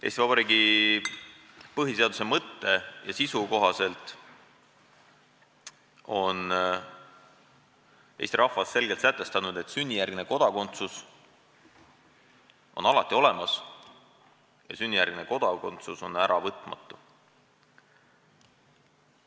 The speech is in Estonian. Eesti Vabariigi põhiseaduse mõtte ja sisu kohaselt on eesti rahvas selgelt sätestanud, et sünnijärgne kodakondsus on alati olemas ja sünnijärgne kodakondsus on äravõtmatu.